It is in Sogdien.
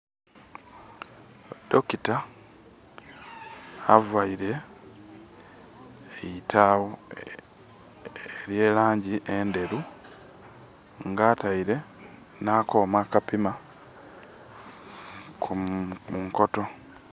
Doctor avaire eitagho elye langi endheru nga ataire nha koma akapima kunkoto.